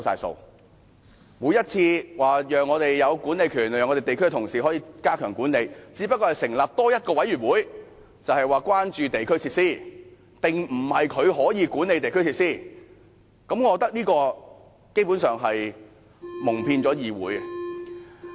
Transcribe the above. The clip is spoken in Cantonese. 政府每次說讓地區同事有管理權，使他們可以加強管理，但只不過是多成立一個委員會，說的是關注地區設施，並非可以管理地區設施，我認為這基本上是蒙騙議會。